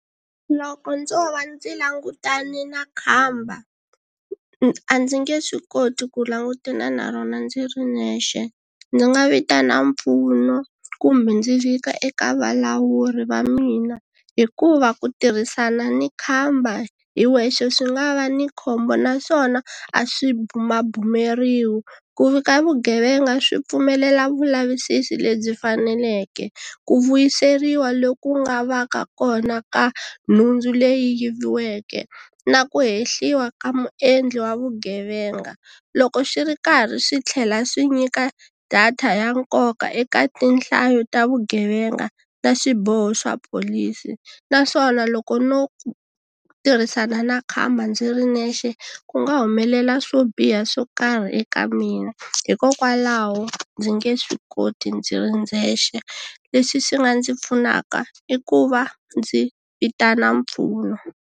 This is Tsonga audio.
Loko ndzo va ndzi langutane na khamba a ndzi nge swi koti ku langutana na rona ndzi ri nexe, ndzi nga vitana mpfuno kumbe ndzi vika eka valawuri va mina hikuva ku tirhisana ni khamba hi wexe swi nga va ni khombo naswona a swi bumabumeriwi. Ku vika vugevenga swi pfumelela vulavisisi lebyi faneleke, ku vuyiseriwa loku nga va ka kona ka nhundzu leyi yiviweke na ku hehliwa ka muendli wa vugevenga. Loko swi ri karhi swi tlhela swi nyika data ya nkoka eka tinhlayo ta vugevenga ta swiboho swa pholisi naswona loko no tirhisana na khamba ndzi ri nexe ku nga humelela swo biha swo karhi eka mina hikokwalaho ndzi nge swi koti ndzi ri ndzexe leswi swi nga ndzi pfunaka i ku va ndzi vitana mpfuno.